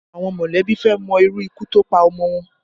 Àwọn mọ̀lẹ́bí fẹ́ mọ irú ikú tó pa ọmọ wọn